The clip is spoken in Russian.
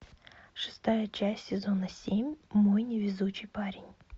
шестая часть сезона семь мой невезучий парень